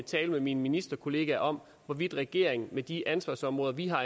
tale med mine ministerkolleger om hvorvidt regeringen med de ansvarsområder vi har